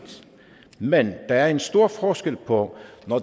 men der er en stor forskel på